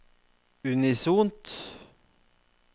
unisont